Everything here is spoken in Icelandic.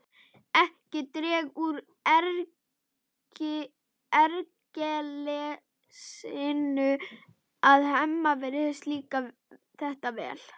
Ekki dregur úr ergelsinu að Hemma virðist líka þetta vel.